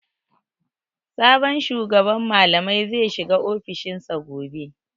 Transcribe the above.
Sabon shugaban malamai zai shiga ofishin sa gobe.